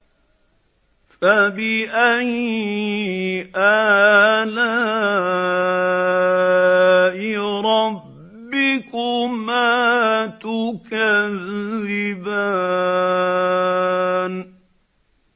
فَبِأَيِّ آلَاءِ رَبِّكُمَا تُكَذِّبَانِ